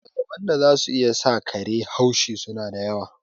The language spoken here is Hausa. Dalilan da za su iya sa kare haushi su na da yawa.